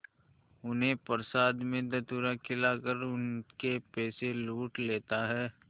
उन्हें प्रसाद में धतूरा खिलाकर उनके पैसे लूट लेता है